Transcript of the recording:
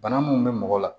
Bana mun be mɔgɔ la